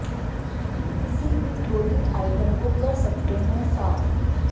किसी भी clothing item को कर सकते हैं साफ